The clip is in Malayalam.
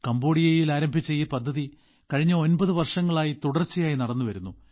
കംബോഡിയയിൽ ആരംഭിച്ച ഈ പദ്ധതി കഴിഞ്ഞ 9 വർഷങ്ങളായി തുടർച്ചയായി നടന്നുവരുന്നു